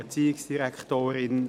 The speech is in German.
Kommissionssprecher